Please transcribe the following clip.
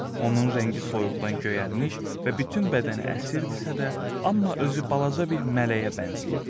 Onun rəngi soyuqdan göyərmiş və bütün bədəni əsirdisə də, amma özü balaca bir mələyə bənzəyirdi.